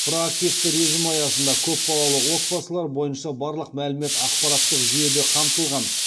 проактивті режім аясында көпбалалы отбасылар бойынша барлық мәлімет ақпараттық жүйеде қамтылған